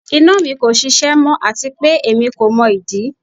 Ina mi ko ṣiṣẹ mọ ati pe emi ko mọ idi